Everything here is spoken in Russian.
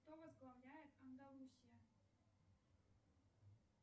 кто возглавляет андалусия